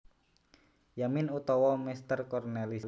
Yamin utawa Meester Cornelis